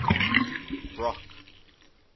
brock